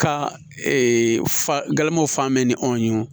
Ka fa galamaw fan bɛɛ ni anw ye wo